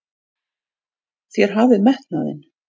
Þér hafið metnaðinn!